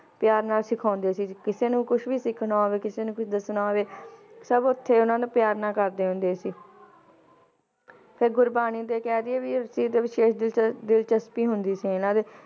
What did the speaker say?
ਪਿਆਰ ਨਾਲ ਸਿਖਾਉਂਦੇ ਸੀ ਕਿਸੇ ਨੂੰ ਕੁਛ ਵੀ ਸਿੱਖਣਾ ਹੋਵੇ, ਕਿਸੇ ਨੇ ਕੁਛ ਦੱਸਣਾ ਹੋਵੇ ਸਬ ਓਥੇ ਉਹਨਾਂ ਨਾਲ ਪਿਆਰ ਨਾਲ ਕਰਦੇ ਹੁੰਦੇ ਸੀ ਤੇ ਗੁਰਬਾਣੀ ਦੇ ਕਹਿ ਦੇਈਏ ਵੀ ਇਸ ਚੀਜ਼ ਤੇ ਵਿਸ਼ੇਸ਼ ਦਿਲਚ~ ਦਿਲਚਸਪੀ ਹੁੰਦੀ ਸੀ ਇਹਨਾਂ ਦੀ